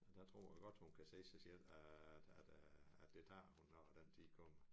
Der tror jeg godt hun kan se sig selv at at at det tager hun når den tid kommer